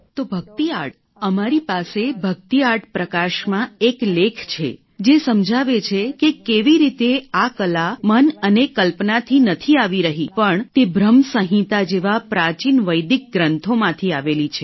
તો ભક્તિ આર્ટ અમારી પાસે ભક્તિ આર્ટ પ્રકાશમાં એક લેખ છે જે સમજાવે છે કે કેવી રીતે આ કલા મન અને કલ્પનાથી નથી આવી રહી પણ તે ભ્રમ સંહિતા જેવા પ્રાચીન વૈદિક ગ્રંથોમાંથી આવેલી છે